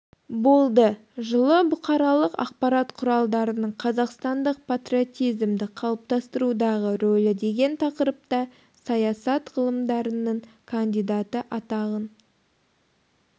болды жылы бұқаралық ақпарат құралдарының қазақстандық патриотизмді қалыптастырудағы рөлі деген тақырыпта саясат ғылымдарының кандидаты атағын